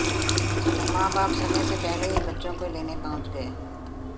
मां बाप समय से पहले ही बच्चों को लेने पहुंच गए